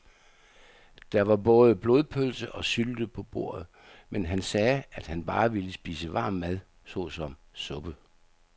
Der var både blodpølse og sylte på bordet, men han sagde, at han bare ville spise varm mad såsom suppe.